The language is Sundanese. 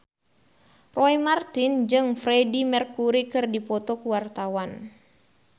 Roy Marten jeung Freedie Mercury keur dipoto ku wartawan